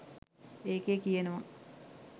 ඒකේ කියනවා